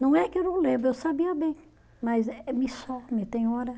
Não é que eu não lembro, eu sabia bem, mas eh me some, tem hora.